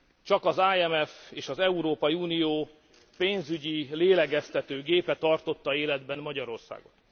Csak az IMF és az Európai Unió pénzügyi lélegeztető gépe tartotta életben Magyarországot.